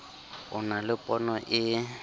o na le pono e